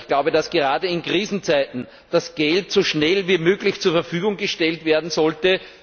Ich glaube, dass gerade in Krisenzeiten die Mittel so schnell wie möglich zur Verfügung gestellt werden sollten.